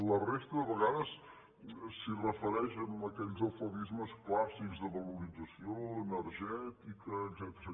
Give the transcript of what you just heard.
la resta de vegades s’hi refereix amb aquells eufemismes clàs·sics de valorització energètica etcètera